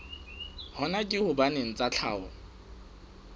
hona ke hobane tsa tlhaho